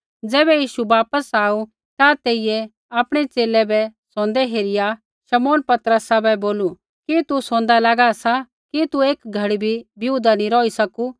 ज़ैबै यीशु वापस आऊ ता तेइयै आपणै च़ेले बै सोंदै हेरिया शमौन पतरसा बै बोलू कि तू सोंदा लागा सा कि तू एक घड़ी बी बिऊदा नी रौही सकू